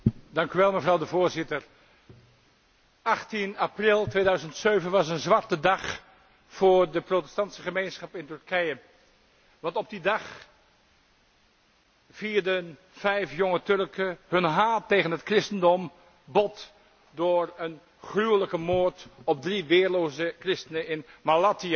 Mevrouw de Voorzitter, 18 april 2007 was een zwarte dag voor de protestantse gemeenschap in Turkije, want op die dag vierden vijf jonge Turken hun haat tegen het christendom bot door een gruwelijke moord te plegen op drie weerloze christenen in Malatya.